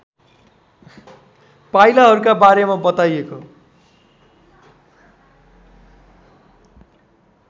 पाइलाहरूका बारेमा बताइएको